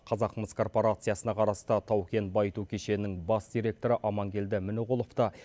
қазақмыс корпорациясына қарасты тау кен байыту кешенінің бас директоры амангелді мініғұловты